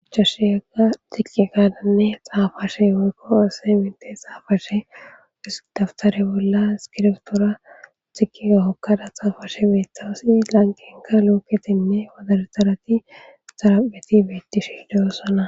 achashshe yega xiqqi kadanne xaafashe worko ase minte xaafashe hisdaftare bolla iskirtora xiqia hokkada xaafashe meetawasi lanqenka looketinne wadartarati xarapheti bettishiidoossana